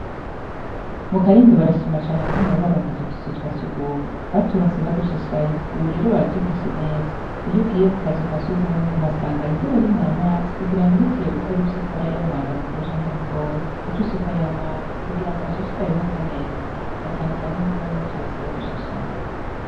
mu karindo barashima cane ukuntu ba baronkeje utuzu twasugume baturonse badushashaye uburero baradufashe neza iy ugiye mu kazu ka sugumwe uhasangane indobo irimwo amazi kugira ngo hegeje gukora iby'ukora yaba mwanda mukuru canke mutoyi uce usukayo amazi kugira ngo hashishikare hasa neza na cyane cyane y'uko bari baturonse badushashaye